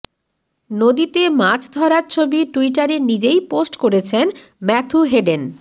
নদীতে মাছ ধরার ছবি টুইটারে নিজেই পোস্ট করেছেন ম্যাথু হেডেন